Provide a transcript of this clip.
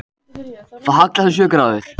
Það hallast um sjö gráður